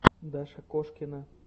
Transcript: даша кошкина